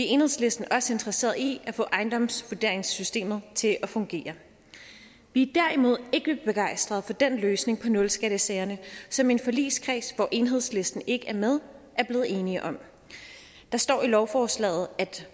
enhedslisten også interesserede i at få ejendomsvurderingssystemet til at fungere vi er derimod ikke begejstret for den løsning på nulskattesagerne som en forligskreds hvor enhedslisten ikke er med er blevet enige om der står i lovforslaget